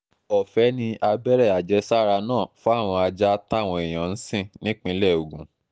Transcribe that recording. ọ̀fẹ́ ni abẹ́rẹ́ àjẹsára náà fáwọn ajá táwọn èèyàn ń sìn nípínlẹ̀ ogun